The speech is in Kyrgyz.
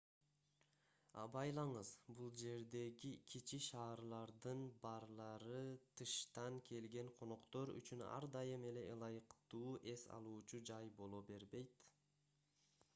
абайлаңыз бул жердеги кичи шаарлардын барлары тыштан келген коноктор үчүн ар дайым эле ылайыктуу эс алуучу жай боло бербейт